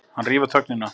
Hann rýfur þögnina.